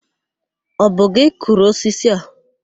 Ọ bụ gị kụrụ osisi a?